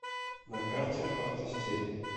на карте авто стиль